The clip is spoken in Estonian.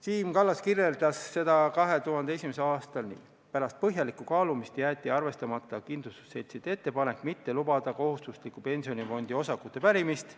Siim Kallas selgitas seda 2001. aastal nii, et pärast põhjalikku kaalumist jäeti arvestamata kindlustusseltside ettepanek mitte lubada kohustusliku pensionifondi osakute pärimist.